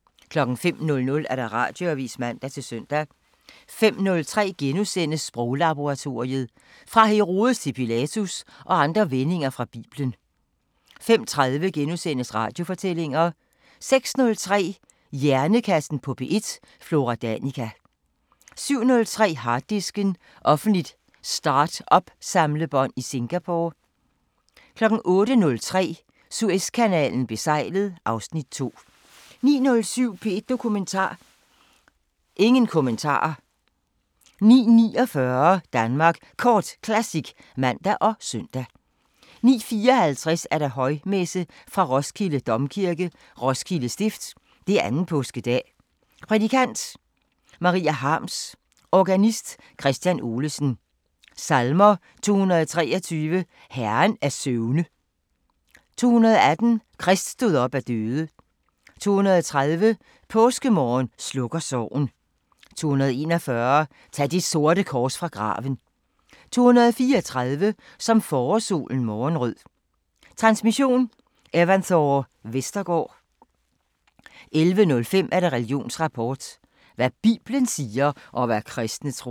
05:00: Radioavisen (man-søn) 05:03: Sproglaboratoriet: "Fra Herodes til Pilatus" og andre vendinger fra biblen * 05:30: Radiofortællinger * 06:03: Hjernekassen på P1: Flora Danica 07:03: Harddisken: Offentligt startup-samlebånd i Singapore 08:03: Suezkanalen besejlet (Afs. 2) 09:07: P1 Dokumentar: Ingen kommentarer 09:49: Danmark Kort Classic (man og søn) 09:54: Højmesse - Fra Roskilde Domkirke, Roskilde Stift. 2. Påskedag, Prædikant: Maria Harms. Organist: Kristian Olesen. Salmer: 223: Herren af søvne. 218: Krist stod op af døde. 230: Påskemorgen slukker sorgen. 241: Tag det sorte kors fra graven. 234: Som forårssolen morgenrød. Transmission: Evanthore Vestergaard. 11:05: Religionsrapport: Hvad bibelen siger, og hvad kristne tror...